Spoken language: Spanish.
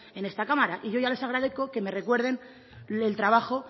en esta cámara y yo ya les agradezco que me recuerden el trabajo